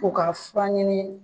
U ka fura ɲini